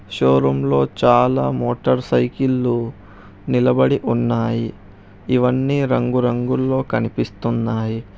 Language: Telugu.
షో రూమ్ లో చాలా మోటర్ సైకిళ్ళు నిలబడి ఉన్నాయి ఇవన్నీ రంగు రంగుల్లో కనిపిస్తున్నాయి.